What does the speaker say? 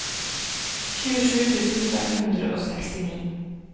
tjuesju tusen fem hundre og sekstini